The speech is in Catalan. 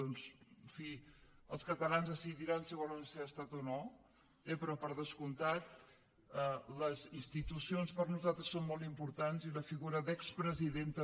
doncs en fi els catalans decidiran si volen ser estat o no però per descomptat les institucions per nosaltres són molt importants i la figura d’expresident també